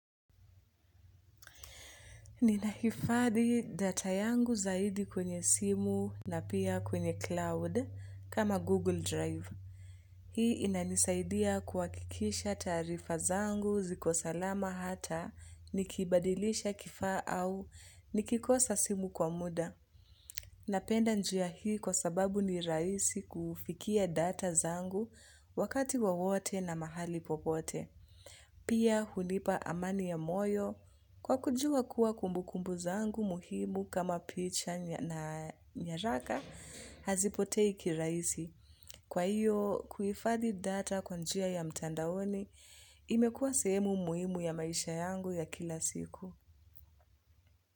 Ninahifadhi data yangu zaidi kwenye simu na pia kwenye cloud kama Google Drive. Hii inanisaidia kuhakikisha taarifa zangu ziko salama hata nikibadilisha kifaa au nikikosa simu kwa muda. Napenda njia hii kwa sababu ni rahisi kufikia data zangu wakati wowote na mahali popote. Pia hunipa amani ya moyo kwa kujua kuwa kumbukumbu zangu muhimu kama picha na nyaraka hazipotei kirahisi. Kwa hiyo kuhifadhi data kwa njia ya mtandaoni imekua sehemu muhimu ya maisha yangu ya kila siku.